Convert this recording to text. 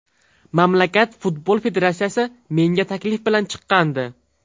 Mamlakat futbol federatsiyasi menga taklif bilan chiqqandi.